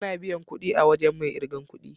Ana biyan kudi a wajen mai irgan kudi.